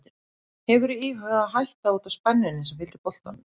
Hefurðu íhugað að hætta út af spennunni sem fylgir boltanum?